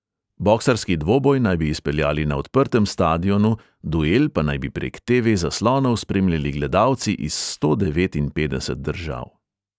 Boksarski dvoboj naj bi izpeljali na odprtem stadionu, duel pa naj bi prek te|ve-zaslonov spremljali gledalci iz sto devetinpetdeset držav.